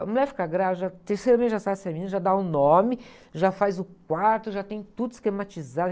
A mulher fica grávida, no terceiro mês já sabe se é menina, já dá o nome, já faz o quarto, já tem tudo esquematizado.